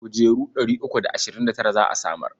Kujeru ɗari uku da ashirin da tara za a samar.